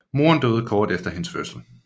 Moren døde kort efter hendes fødsel